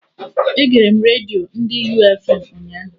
Egere m redio ndị U fm ụnyaahụ